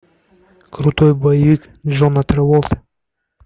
крутой боевик джона траволты